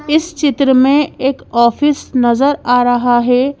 इस चित्र में एक ऑफिस नजर आ रहा है।